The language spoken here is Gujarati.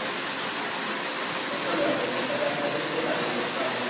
સસ્તો લેવાનો પચાસ સાહીંઠ કેતો તો સુ તારી સસ્તા મો